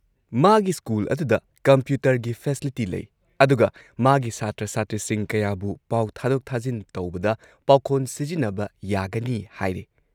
ꯃꯥꯒꯤ ꯁ꯭ꯀꯨꯜ ꯑꯗꯨꯗ ꯀꯝꯄ꯭ꯌꯨꯇꯔꯒꯤ ꯐꯦꯁꯤꯂꯤꯇꯤ ꯂꯩ, ꯑꯗꯨꯒ ꯃꯥꯒꯤ ꯁꯥꯇ꯭ꯔ ꯁꯥꯇ꯭ꯔꯤꯁꯤꯡ ꯀꯌꯥꯕꯨ ꯄꯥꯎ ꯊꯥꯗꯣꯛ ꯊꯥꯖꯤꯟ ꯇꯧꯕꯗ ꯄꯥꯈꯣꯟ ꯁꯤꯖꯤꯟꯅꯕ ꯌꯥꯒꯅꯤ ꯍꯥꯏꯔꯦ ꯫